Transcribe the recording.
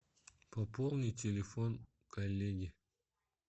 пополнить телефон коллеги